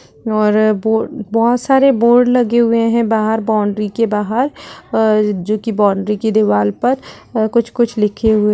और बो बहोत सारे बोर्ड लगे हुए हैं बाहर बाउंड्री के बाहर अ जोकि बाउंड्री की दीवाल पर अ कुछ-कुछ लिखे हुए --